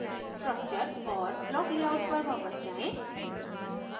structure और block layout पर वापस जायें